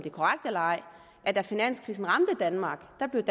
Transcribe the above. da finanskrisen ramte danmark